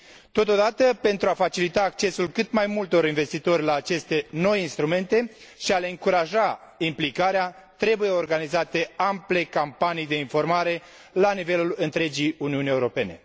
Totodată, pentru a facilita accesul cât mai multor investitori la aceste noi instrumente și a le încuraja implicarea, trebuie organizate ample campanii de informare la nivelul întregii Uniuni Europene.